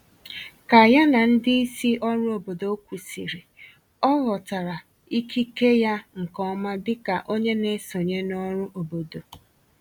Ka ya na ndị isi òrụ́ obodo kwụsịrị, ọ ghọtara ikike ya nke ọma dịka onye na-esonye n’ọrụ obodo